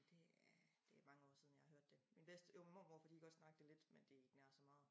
Det er det mange år siden jeg har hørt det min bedste jo min mormor kunne lige godt snakke det lidt men det ikke nær så meget